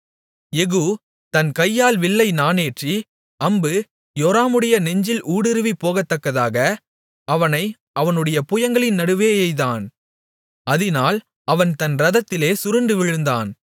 யெகூ தன் கையால் வில்லை நாணேற்றி அம்பு யோராமுடைய நெஞ்சில் ஊடுருவிப் போகத்தக்கதாக அவனை அவனுடைய புயங்களின் நடுவே எய்தான் அதினால் அவன் தன் இரதத்திலே சுருண்டு விழுந்தான்